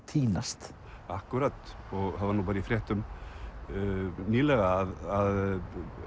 týnast akkúrat og það var nú bara í fréttum nýlega að